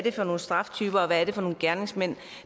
er for nogle straftyper og hvad det er for nogle gerningsmænd